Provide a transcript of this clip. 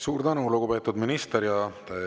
Suur tänu, lugupeetud minister!